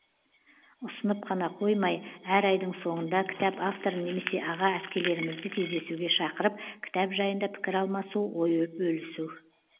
ұсынып қана қоймай әр айдың соңында кітап авторын немесе аға әпкелерімізді кездесуге шақырып кітап жайында пікір алмасу ой бөлісу